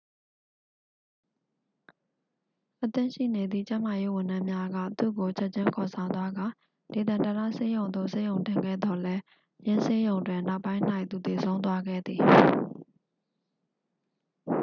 အသင့်ရှိနေသည့် ကျန်းမာရေး ဝန်ထမ်းများက သူ့ကို ချက်ချင်း ခေါ်ဆောင်သွားကာ ဒေသန္တရဆေးရုံသို့ ဆေးရုံတင်ခဲ့သော်လည်း ယင်းဆေးရုံတွင် နောက်ပိုင်း၌ သူသေဆုံးသွားခဲ့သည်